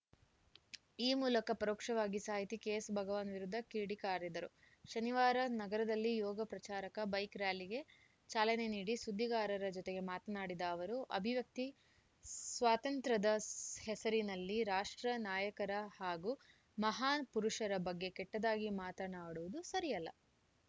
ಈ ಮೂಲಕ ಪರೋಕ್ಷವಾಗಿ ಸಾಹಿತಿ ಕೆಎಸ್‌ಭಗವಾನ್‌ ವಿರುದ್ಧ ಕಿಡಿಕಾರಿದರು ಶನಿವಾರ ನಗರದಲ್ಲಿ ಯೋಗ ಪ್ರಚಾರಕ ಬೈಕ್‌ ರ‍್ಯಾಲಿಗೆ ಚಾಲನೆ ನೀಡಿ ಸುದ್ದಿಗಾರರ ಜೊತೆಗೆ ಮಾತನಾಡಿದ ಅವರು ಅಭಿವ್ಯಕ್ತಿ ಸ್ವಾತಂತ್ರ್ಯದ ಹೆಸರಲ್ಲಿ ರಾಷ್ಟ್ರ ನಾಯಕರ ಹಾಗೂ ಮಹಾನ್‌ ಪುರುಷರ ಬಗ್ಗೆ ಕೆಟ್ಟದಾಗಿ ಮಾತನಾಡುವುದು ಸರಿಯಲ್ಲ